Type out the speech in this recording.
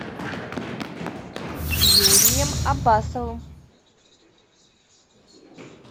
юрием аббасовым